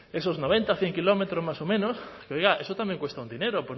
esos noventa cien kilómetros más o menos que oiga eso también cuesta un dinero